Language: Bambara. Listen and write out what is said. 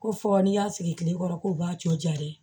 Ko fɔ n'i y'a sigi tile kɔrɔ k'u b'a cɔ ja dɛ